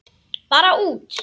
Bara út.